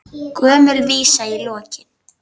Gömul vísa í lokin.